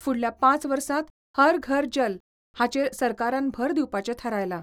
फुडल्या पांच वर्सांत 'हर घर जल 'हाचेर सरकारान भर दिवपाचे थारायला.